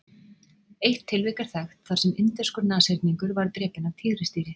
eitt tilvik er þekkt þar sem indverskur nashyrningur var drepinn af tígrisdýri